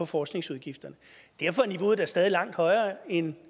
forskningsudgifterne derfor er niveauet da stadig langt højere end